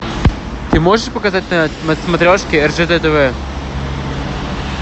ты можешь показать на смотрешке ржд тв